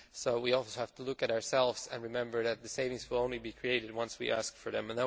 So we obviously have to look at ourselves and remember that the savings will only be created once we ask for them.